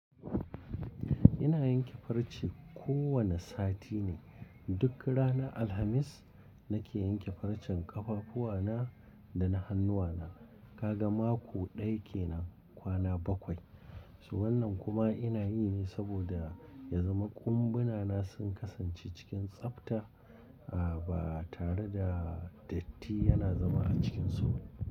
Ina yanke farce kowani sati ne. Duk ranar Alhamis nake yanke farcen ƙafafuwa na da na hannuwana. Ka ga mako ɗaya kenan kwana bakwai. Su wannan kuma ina yi ne saboda ya zama ƙumbunana sun kasance cikin tsafta a ba tare da datti yana zama a cikin sauƙi.